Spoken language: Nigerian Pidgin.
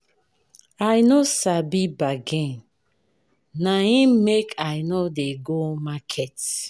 I no sabi bargain, na im make I no dey go market.